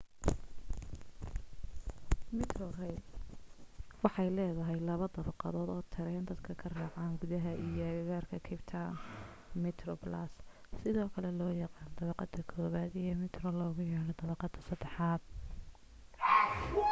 metrorail waxay leedahay laba dabaqadood oo tareen dadka ka raacaan gudaha iyo agagaarka capetown: metroplus sidoo kale loo yaqaan dabaqada koobaad iyo metro loogu yeedho dabaqadda saddexaad